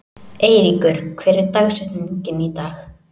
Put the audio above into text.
Eyríkur, hver er dagsetningin í dag?